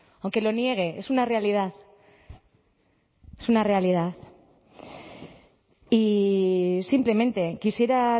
aunque lo niegue es una realidad es una realidad y simplemente quisiera